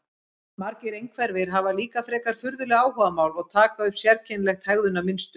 Margir einhverfir hafa líka frekar furðuleg áhugamál og taka upp sérkennilegt hegðunarmynstur.